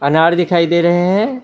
अनार दिखाई दे रहे हैं।